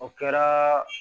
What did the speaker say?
O kɛra